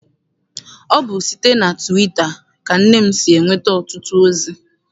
Ọ bụ site na tụwita ka nne m si enweta ọtụtụ ozi.